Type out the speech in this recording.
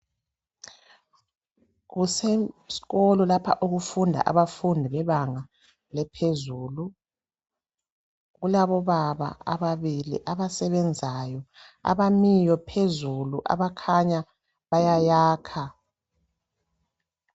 Kusesikolo lapha okufunda abafundi bebanga laphezulu. Kulabobaba ababili abasebenzayo abamiyo phezulu abakhanya bayayakha.